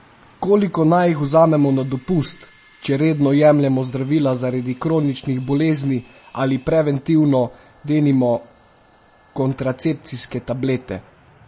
Koliko naj jih vzamemo na dopust, če redno jemljemo zdravila zaradi kroničnih bolezni ali preventivno, denimo kontracepcijske tablete?